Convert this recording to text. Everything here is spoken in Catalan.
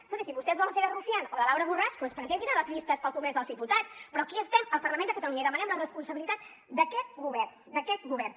escolti si vostès volen fer de rufián o de laura borràs doncs presentinse a les llistes per al congrés dels diputats però aquí estem al parlament de catalunya i demanem la responsabilitat d’aquest govern d’aquest govern